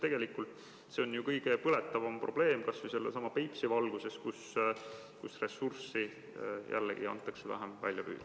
Tegelikult see on ju kõige põletavam probleem, kas või Peipsi puhul, kus ressurssi lubatakse jällegi vähem välja püüda.